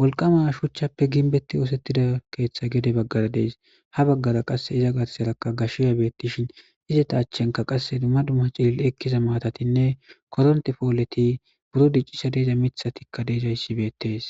wolqama shuchappe gimbeti utida keethay gede bagara Des, ha bagara qase iza garsaraka gashiya beetishn izeta achanka qase dumma dumma cilil'i ekiza matatinne koronte poleti, buro dicishe diza mithatika de'izaysi betesi.